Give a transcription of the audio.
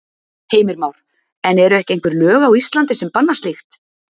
Heimir Már: En eru ekki einhver lög á Íslandi sem banna slíkt?